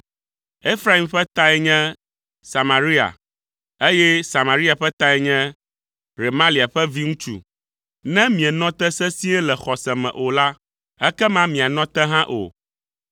Efraim ƒe tae nye Samaria, eye Samaria ƒe tae nye Remalia ƒe viŋutsu. Ne mienɔ te sesĩe le xɔse me o la, ekema mianɔ te hã o.’ ”